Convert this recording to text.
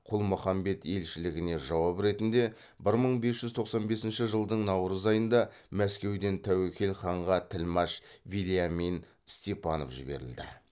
құлмұхаммед елшілігіне жауап ретінде бір мың бес жүз тоқсан бесінші жылдың наурыз айында мәскеуден тәуекел ханға тілмаш вельямин степанов жіберілді